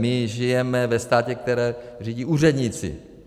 My žijeme ve státě, který řídí úředníci.